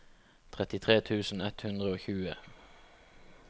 trettitre tusen ett hundre og tjue